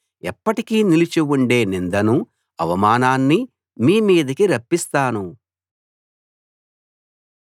ఎప్పటికీ నిలిచి ఉండే నిందనూ అవమానాన్నీ మీ మీదికి రప్పిస్తాను